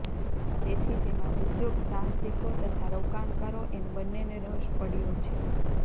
તેથી તેમાં ઉદ્યોગસાહસિકો તથા રોકાણકારો એમ બન્નેને રસ પડ્યો છે